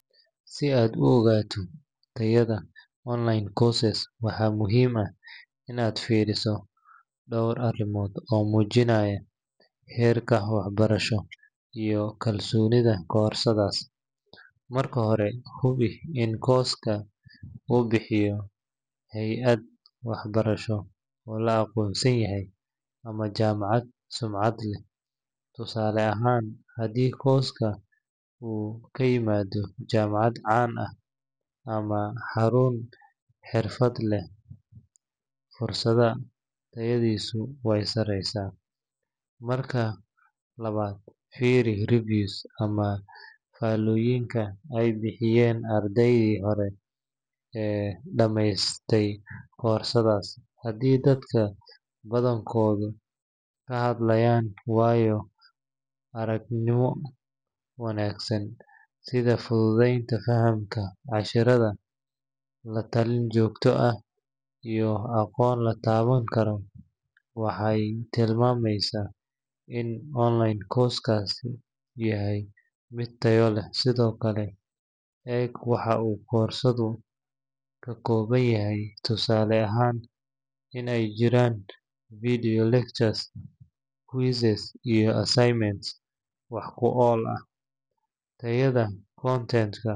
Si aad u uqato tayada online corses waxaa muhiim ah in aad firiso dor arimod oo mujinaya herka wax barasho iyo kalsonidha ka hortaga fursadhas, marka hore hubi in koska u bixiyo heyaad wax barasho oo la aqonsan yahay tusale ahan hadii koska kaimadho jamacaad can ah ama xarun xirfaad leh fursaad, marka hore firi shahado ee bixiyen ardeydi hore ee dameyse korsadas hadii dadka badankoda ee ka hadlayan wayo arag nimo wanagsan sitha fududenta cashirada iyo aqon la tawan karo waxee tilmamesa in online corses .